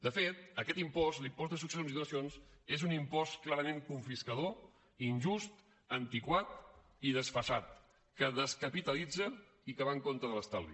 de fet aquest impost l’impost de successions i donacions és un impost clarament confiscador injust antiquat i desfasat que descapitalitza i que va en contra de l’estalvi